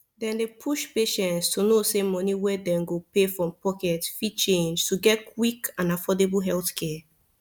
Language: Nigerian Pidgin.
dem dey push patients to know say money wey dem go pay from pocket fit change to get quick and affordable healthcare